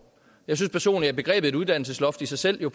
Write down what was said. jeg synes personligt at begrebet uddannelsesloft i sig selv på